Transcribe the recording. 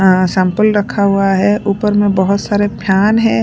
आं सैंपल रखा हुआ है ऊपर में बहुत सारे फैन हैं।